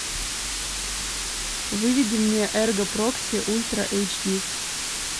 выведи мне эрго прокси ультра эйч ди